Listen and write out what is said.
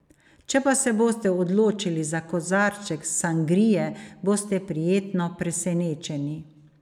Če pa se boste odločili za kozarček sangrije, boste prijetno presenečeni.